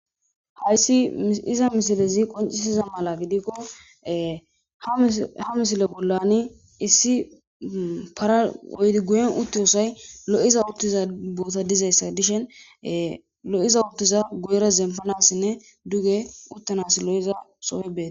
Hayssi iza misilezi qoncisiza mala gidikko ha misile bollani issi paraoydi guyen uttiyoosay lo'iza uttiza boota dizayssa dishen lo'iza uttiza goyra zempanassinne duge uttanas lo'iza sooy bete